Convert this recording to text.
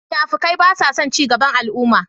Munafukai basason cigaban al'umma.